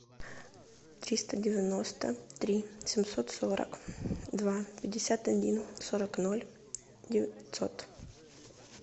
триста девяносто три семьсот сорок два пятьдесят один сорок ноль девятьсот